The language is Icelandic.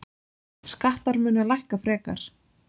Skattar munu lækka frekar.